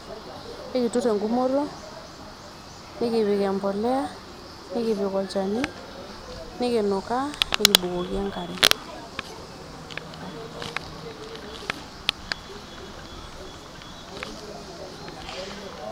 Ekiturr engumoto nikipik empolea.,nikipik olchani, nikinukaa ,nikibukoki enkare .